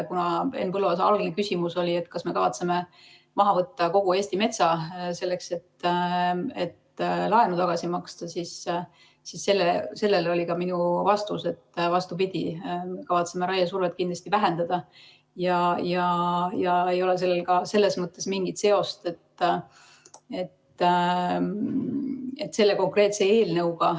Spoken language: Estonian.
Kuna Henn Põlluaasa küsimus oli, kas me kavatseme maha võtta kogu Eesti metsa, selleks et laenu tagasi maksta, siis sellele oli ka minu vastus, et vastupidi, me kavatseme raiesurvet kindlasti vähendada ja sellel ei ole selles mõttes mingit seost selle konkreetse eelnõuga.